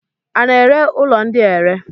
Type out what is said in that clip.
A na-ere ụlọ ndị a ere?